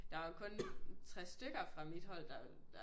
Der er jo kun 3 stykker fra mit hold der